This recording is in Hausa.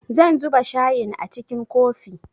Zan zuba shayin a cikin kofi